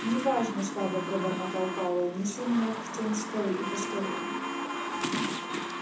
не важно слабо пробормотал пауэлл неси меня в тень скалы и поскорее